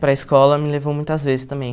Para escola me levou muitas vezes também.